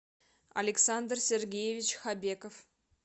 александр сергеевич хабеков